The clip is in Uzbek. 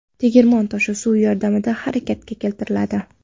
Tegirmon toshi suv yordamida harakatga keltiriladi.